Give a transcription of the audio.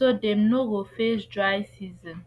so dem no go face dry season